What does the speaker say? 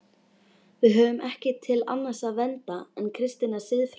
Við höfum ekki til annars að venda en kristinnar siðfræði.